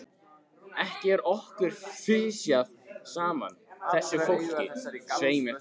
Ekki er okkur fisjað saman, þessu fólki, svei mér þá!